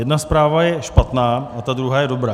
Jedna zpráva je špatná a ta druhá je dobrá.